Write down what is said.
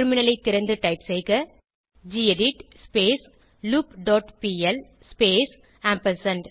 டெர்மினலை திறந்து டைப் செய்க gedit loop dot PL space ampersand